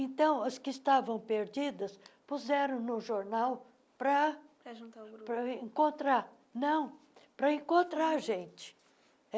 Então, as que estavam perdidas, puseram no jornal para juntar o grupo para encontrar não para encontrar a gente.